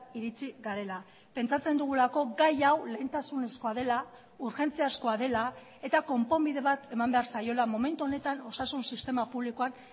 iritsi garela pentsatzen dugulako gai hau lehentasunezkoa dela urgentziazkoa dela eta konponbide bat eman behar zaiola momentu honetan osasun sistema publikoan